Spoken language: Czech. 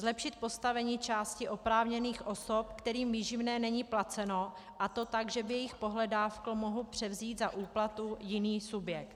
Zlepšit postavení části oprávněných osob, kterým výživné není placeno, a to tak, že by jejich pohledávku mohl převzít za úplatu jiný subjekt.